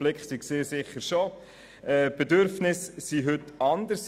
Die Anforderungen haben sich gewandelt;